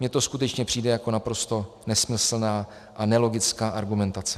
Mně to skutečně přijde jako naprosto nesmyslná a nelogická argumentace.